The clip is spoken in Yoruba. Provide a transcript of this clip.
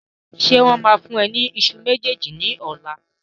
Ṣé wọn máa fún ẹ ní ìṣù méjèèjì ní ọ̀la?